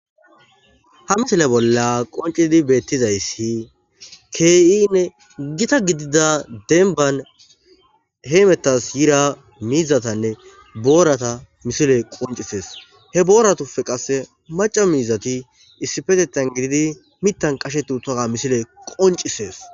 Ha misile bolla qoncidi beettizayssi k'inne gita gidida denban heymetas yira miizatanne boorata misile qoncisees he booratufe qasse maca miizati issifetettan gididi mittan qashe tuuthaa misile qoncisees